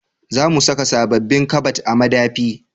Za mu saka sabobbin kabad a madafi